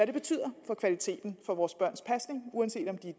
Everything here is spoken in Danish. det betyder for kvaliteten for vores børns pasning uanset om de er